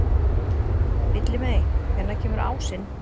Villimey, hvenær kemur ásinn?